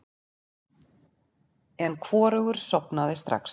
En hvorugur sofnaði strax.